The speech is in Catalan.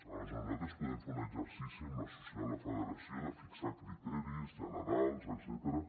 aleshores nosaltres podem fer un exercici amb la federació de fixar criteris generals etcètera